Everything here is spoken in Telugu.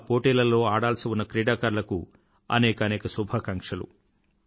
ఇంకా పోటీలలో ఆడాల్సి ఉన్న క్రీడాకారులకు అనేకానేక శుభాకాంక్షలు